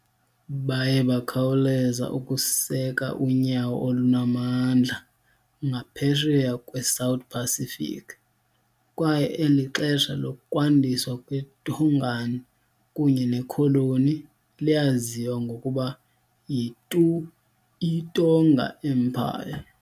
Baye bakhawuleza ukuseka unyawo olunamandla ngaphesheya kwe-South Pacific, kwaye eli xesha lokwandiswa kweTongan kunye nekholoni liyaziwa ngokuba yi- Tu'i Tonga Empire.